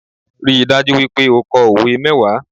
Ríi dájú wípé o ko òwe mẹ́wàá